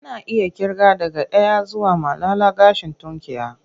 Ana iya ƙirga daga ɗaya zuwa malala gashin tunkiya.